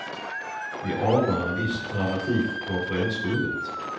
Vi anar en viss dramatik i konferensrummet.